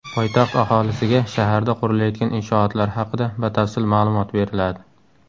Poytaxt aholisiga shaharda qurilayotgan inshootlar haqida batafsil ma’lumot beriladi.